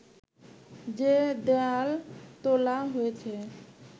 যে দেয়াল তোলা হয়েছে